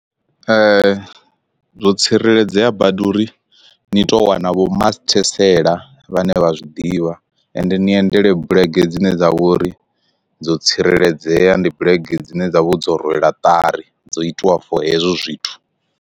Zwo tsireledzea badi uri ni to wana vho masithesele vhane vha zwi ḓivha ende ni endele bulege dzine dza vhori dzo tsireledzea ndi bulege dzine dza vho dzo rwela ṱari dzo itiwa for hezwo zwithu